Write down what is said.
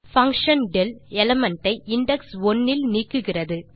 function del element ஐ index 1 இல் நீக்குகிறது